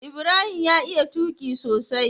Ibarhim ya iya tuqi sosai